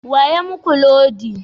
Wa ya muku lodi?